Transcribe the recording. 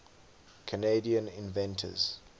canadian inventors